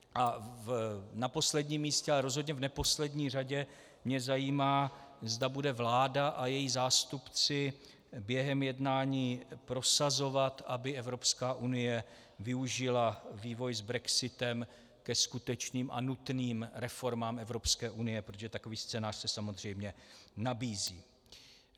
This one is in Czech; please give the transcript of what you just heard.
A na posledním místě, ale rozhodně v neposlední řadě mě zajímá, zda budou vláda a její zástupci během jednání prosazovat, aby Evropská unie využila vývoj s brexitem ke skutečným a nutným reformám Evropské unie, protože takový scénář se samozřejmě nabízí.